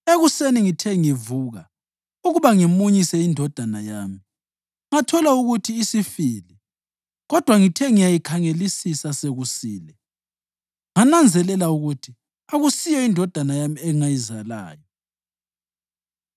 Ekuseni ngithe ngivuka ukuba ngimunyise indodana yami, ngathola ukuthi isifile! Kodwa ngithe ngiyayikhangelisisa sokusile ngananzelela ukuthi akusiyo indodana yami engayizalayo.”